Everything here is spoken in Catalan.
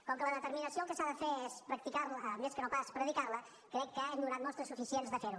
com que la determinació el que s’ha de fer és practicar la més que no pas predicar la crec que hem donat mostres suficients de fer ho